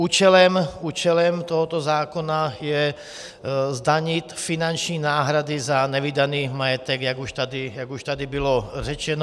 Účelem tohoto zákona je zdanit finanční náhrady za nevydaný majetek, jak už tady bylo řečeno.